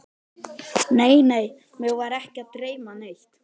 Nei, nei, mig var ekki að dreyma neitt.